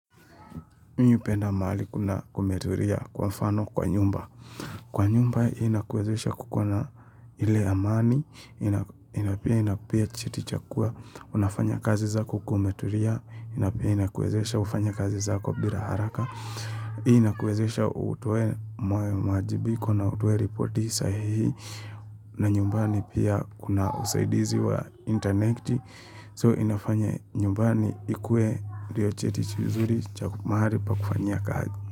Mimi hupenda mahali kumetulia kwa mfano kwa nyumba. Kwa nyumba inakuwezesha kukuwa na ile amani, na pia inakupea chiti cha kua, unafanya kazi zako kama umetulia, na pia inakuwezesha ufanye kazi zako bila haraka, hii inakuwezesha utoe maajibiko na utoe ripoti sahihi, na nyumbani pia kuna usaidizi wa interneti, So inafanya nyumbani ikue ndio cheti kizuri cha mahali pa kufanyia kazi.